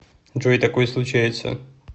джой такое случается